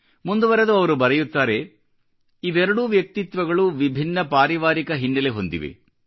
ಮುಂದುವರಿದು ಅವರು ಬರೆಯುತ್ತಾರೆ ಇವೆರಡೂ ವ್ಯಕ್ತಿತ್ವಗಳು ವಿಭಿನ್ನ ಪಾರಿವಾರಿಕ ಹಿನ್ನೆಲೆ ಹೊಂದಿವೆ